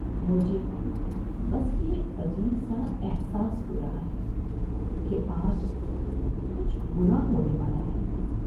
مجھے بس یہ عجیب سا احساس ہو رہا ہے کہ آج کچھ برا ہونے والا ہے۔